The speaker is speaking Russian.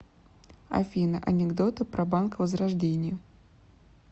афина анекдоты про банк возрождение